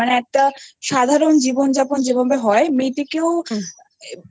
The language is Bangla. মানে একটা সাধারণ জীবনযাপন যেভাবে হয় মেয়েটিকেও হয় না